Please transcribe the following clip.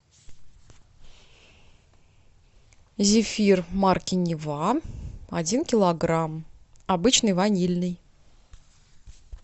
зефир марки нева один килограмм обычный ванильный